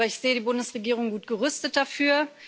Aber ich sehe die Bundesregierung gut gerüstet dafür.